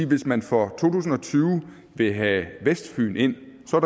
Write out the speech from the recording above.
hvis man for to tusind og tyve vil have vestfyn ind så